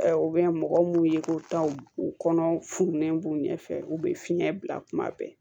U bɛ mɔgɔ mun ye ko taaw u kɔnɔ fununen b'u ɲɛfɛ u be fiɲɛ bila kuma bɛɛ